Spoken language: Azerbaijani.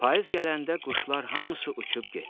Payız gələndə quşlar hamısı uçub getdi.